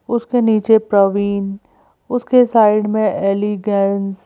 उसके नीचे प्रवीन उसके साइड में एलिगेंस --